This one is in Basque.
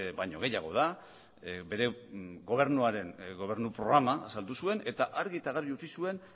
baino gehiago da bere gobernuaren gobernu programa azaldu zuen eta argi eta garbi utzi zuen